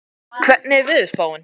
Anný, hvernig er veðurspáin?